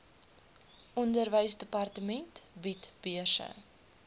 onderwysdepartement bied beurse